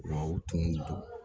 U tun don